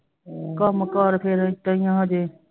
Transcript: ਕੰਮ ਕਾਰ ਫਿਰ ਏਦਾਂ ਹੀ ਆ ਹਜੇl